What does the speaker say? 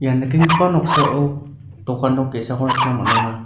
nikenggipa noksao dokan nok ge·sako nikna man·enga.